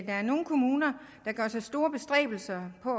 er nogle kommuner der gør sig store bestræbelser på